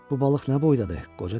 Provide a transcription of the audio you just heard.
Bu balıq nə boydadır?